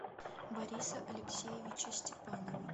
бориса алексеевича степанова